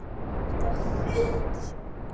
Strákur bunaði út úr sér